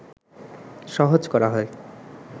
সহজ করা হয়